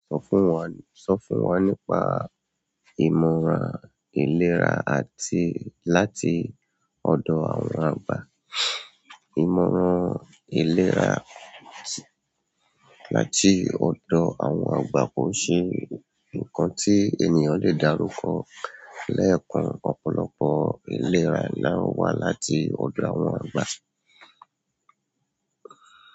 Sọ fún wa, sọ fún wa nípa ìmọ̀ràn ìlera àti láti ọdọ àwọn àgbà. Ìmọ̀ràn ìlera tí láti ọdọ àwọn àgbà kò ṣe nǹkan tí ènìyàn lè darukọ lẹ́ẹ̀kan. Ọ̀pọ̀lọpọ̀ ìlera la ń wá láti ọdọ àwọn àgbà.